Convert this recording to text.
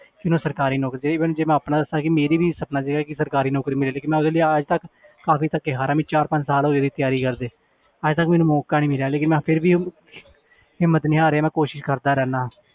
ਕਿ ਉਹਨੂੰ ਸਰਕਾਰੀ ਨੌਕਰੀ ਚਾਹੀਦੀ ਜੇ ਮੈਂ ਆਪਣਾ ਦੱਸਾਂ ਕਿ ਮੇਰਾ ਵੀ ਸੁਪਨਾ ਸੀਗਾ ਕਿ ਸਰਕਾਰੀ ਨੌਕਰੀ ਮਿਲ ਜਾਏੇ ਕਿ ਮੈਂ ਉਹਦੇ ਲਈ ਅੱਜ ਤੱਕ ਕਾਫ਼ੀ਼ ਧੱਕੇ ਖਾ ਰਿਹਾਂ ਮੈਨੂੰ ਚਾਰ ਪੰਜ ਸਾਲ ਹੋ ਗਏ ਤਿਆਰੀ ਕਰਦੇ ਅੱਜ ਤੱਕ ਮੈਨੂੰ ਮੌਕਾ ਨੀ ਮਿਲਿਆ ਲੇਕਿੰਨ ਮੈਂ ਫਿਰ ਵੀ ਹਿੰਮਤ ਨੀ ਹਾਰਿਆ ਮੈਂ ਕੋਸ਼ਿਸ਼ ਕਰਦਾ ਰਹਿਨਾ